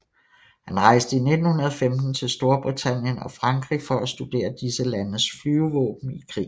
Han rejste i 1915 til Storbritannien og Frankrig for at studere disse landes flyvevåben i krig